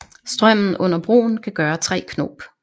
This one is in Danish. Strømmen under broen kan gøre 3 knop